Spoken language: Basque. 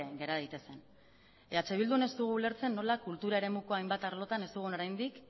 gera daitezen eh bildun ez dugu ulertzen nola kultura eremuko hainbat arlotan ez dugun oraindik